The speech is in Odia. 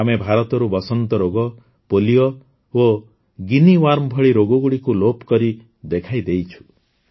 ଆମେ ଭାରତରୁ ବସନ୍ତ ରୋଗ ପୋଲିଓ ଏବଂ ଗିନି ୱାର୍ମ ଭଳି ରୋଗଗୁଡ଼ିକୁ ଲୋପକରି ଦେଖାଇଦେଇଛୁ